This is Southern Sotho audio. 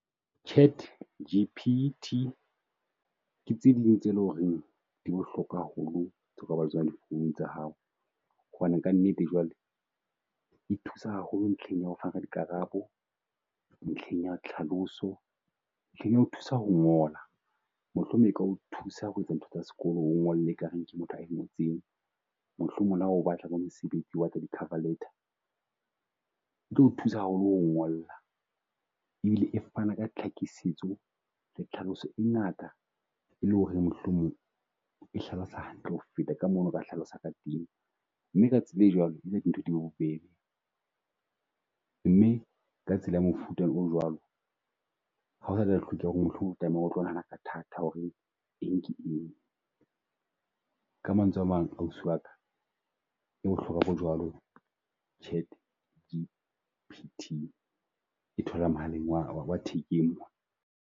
ChatGPT ke tse ding tse loreng di bohlokwa haholo tse o ka bang le tsonandi founung tsa hao. Hobane ka nnete jwale e thusa haholo ntlheng ya ho fana ka dikarabo, ntlheng ya tlhaloso, ntlheng ya ho thusa ho ngola. Mohlomong e ka o thusa ho etsa ntho tsa sekolo o ngole e kareng ke motho a ngotseng. Mohlomong leha o batla bo mesebetsi e batla di cover letter, e tlo thusa haholo ngolla, e bile e fana ka tlhakisetso le tlhaloso e ngata e le ho reng mohlomong e hlalosa hantle ho feta ka moo o no ka hlalosa ka teng. Mme ka tsela e jwalo dintho di bobebe. Mme ka tsela ya mofuta o jwalo ha o satla hlokeha ho re mohlomong o tlameha o tlo nahana ka thata ho re eng ke eng. Ka mantswe a mang, ausi wa ka e bohlokwa bo jwalo ChatGPT e tholahala mohaleng wa wa thekeng mona.